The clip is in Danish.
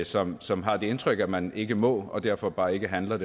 som som har det indtryk at man ikke må og derfor bare ikke handler